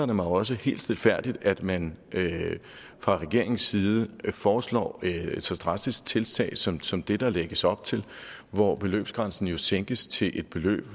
mig også helt stilfærdigt at man fra regeringens side foreslår et så drastisk tiltag som som det der lægges op til hvor beløbsgrænsen jo sænkes til et beløb